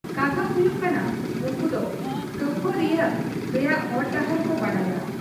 ᱠᱟᱛᱷᱟ ᱦᱩᱭᱩᱜ ᱠᱟᱱᱟ ᱩᱱᱠᱩᱫᱚ ᱠᱟᱹᱯᱷᱟᱹᱣᱨᱤᱭᱟᱜ ᱨᱮᱭᱟᱜ ᱦᱚᱨ ᱰᱟᱦᱟᱨ ᱠᱚ ᱵᱟᱰᱟᱭᱟ ᱾